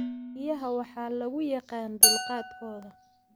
Riyaha waxa lagu yaqaan dulqaadkooda.